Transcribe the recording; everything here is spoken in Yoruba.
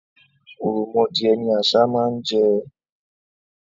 Ò̀ròmọdìẹ ni àṣá máa ń jẹ.